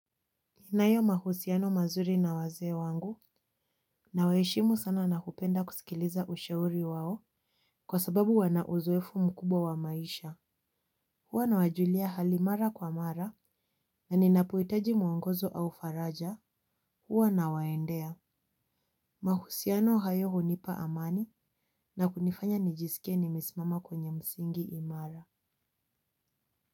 Ninayo mahusiano mazuri na wazee wangu na waheshimu sana na kupenda kusikiliza ushauri wao kwa sababu wana uzoefu mkubwa wa maisha. Huwa nawajulia hali mara kwa mara na ninapoitaji mwongozo au faraja huwa nawaendea. Mahusiano hayo hunipa amani na kunifanya nijisikie nimesimama kwenye msingi imara.